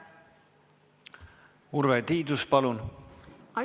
Urve Tiidus, palun!